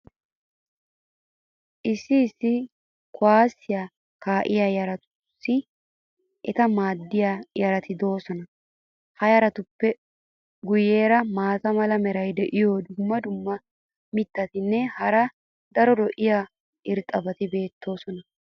issi issi kuwaassiya kaa'iya yaratussi eta maadiyaa yarati doosona. ha yaratuppe guyeera maata mala meray diyo dumma dumma mitatinne hara daro lo'iya irxxabati beetoosona.